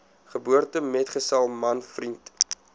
geboortemetgesel man vriend